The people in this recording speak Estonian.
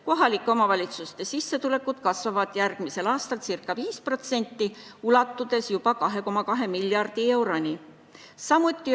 Kohalike omavalitsuste sissetulekud kasvavad järgmisel aastal ca 5%, ulatudes juba 2,2 miljardi euroni.